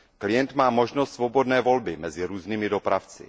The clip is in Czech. Klient má možnost svobodné volby mezi různými dopravci.